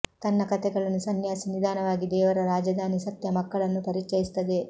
ತನ್ನ ಕಥೆಗಳನ್ನು ಸನ್ಯಾಸಿ ನಿಧಾನವಾಗಿ ದೇವರ ರಾಜಧಾನಿ ಸತ್ಯ ಮಕ್ಕಳನ್ನು ಪರಿಚಯಿಸುತ್ತದೆ